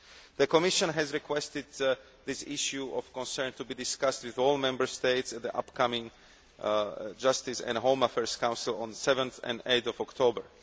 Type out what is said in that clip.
The Commission has requested that this issue of concern be discussed with all Member States at the upcoming Justice and Home Affairs Council on 7 and 8 October.